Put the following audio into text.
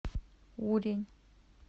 урень